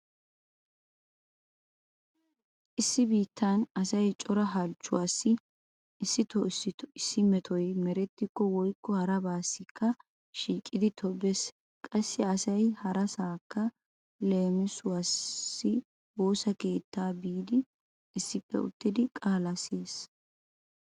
Issi biittan asay cora halchchuwaassi issito issito issi metoy merettikko woykko harabaassikka shiiqidi tobbees. Qassi asay harasaakka leemisuwawu woosa keettaa biidikka issippe uttidi qaalaa siyees.